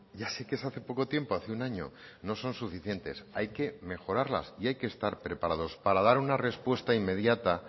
ya sé que es hace poco tiempo hace un año no son suficientes hay que mejorarlas y hay que estar preparados para dar una respuesta inmediata